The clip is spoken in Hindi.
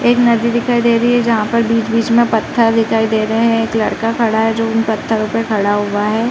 एक नदी दिखाई दे रही है। जहाँ पर बीच-बीच में पत्थर दिखाई दे रहे हैं। एक लड़का खड़ा है जो उन पत्थरों पे खड़ा हुआ है।